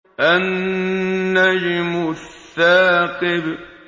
النَّجْمُ الثَّاقِبُ